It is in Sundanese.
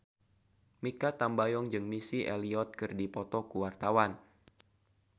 Mikha Tambayong jeung Missy Elliott keur dipoto ku wartawan